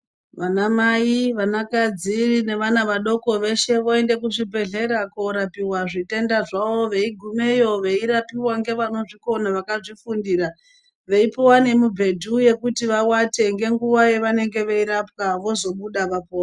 Vanamai, vanakadzi nevana vadoko veshe voende kuzvibhedhlera korapiwe zvitenda zvavo veigumeyo veirapiwe ngevanozvikona vakazvifundira veipuwa ngemibhedhu yekuti vawate ngenguva yavanenge veirapiwa vozobuda vapona.